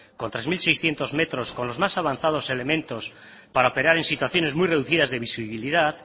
con tres mil seiscientos metros con los más avanzados elementos para operar en situaciones muy reducidas de visibilidad